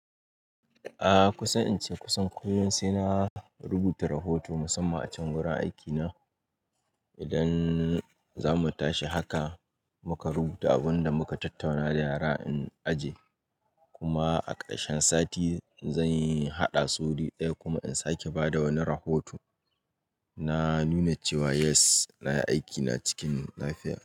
A kusan in ce kusan koyaushe na rubuta rahoto musamman a can wurin aikina. Idan za mu tashi haka muka rubuta abun da muka tattauna da yara a aji, kuma a ƙarshen sati zan yi haɗa su guri ɗaya kuma in sake ba da wani rahoto na nuna cewa yes na yi aikina cikin lafiya.